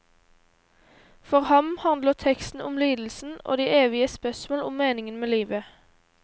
For ham handler teksten om lidelsen og de evige spørsmål om meningen med livet.